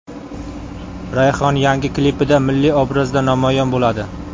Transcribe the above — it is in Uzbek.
Rayhon yangi klipida milliy obrazda namoyon bo‘ladi.